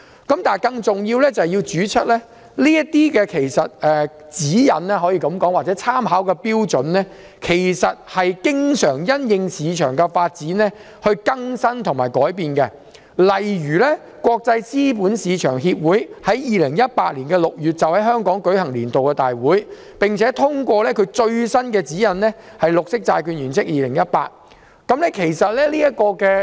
更重要的是，這些指引或參考標準其實經常會因應市場發展而更新及修訂，例如國際資本市場協會於2018年6月在香港舉行年度大會，並且通過其最新指引——《綠色債券原則2018》。